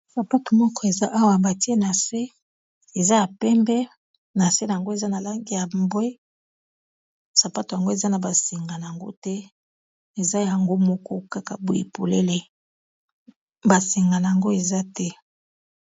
sapato moko eza awa batie na se eza ya pembe na se na yango eza na lange ya mbwe sapato yango eza na basenga na yango te eza yango moko kaka boye polele basenga na yango eza te